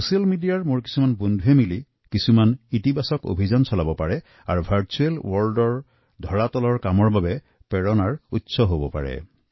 social মিডিয়াৰ মোৰ বন্ধুসকলে এক সংগঠিত অভিযান চলাইছে আৰু ভাৰছুৱেল বিশ্বৰ ধৰাতলৰ কাম কৰি তেওঁলোকৰ প্ৰেৰণা হব পাৰে